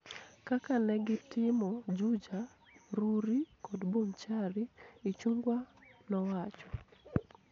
kaka ne gitimo Juja, Rurii kod Bonchari," Ichung'wa nowacho.